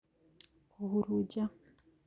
Kũhurunja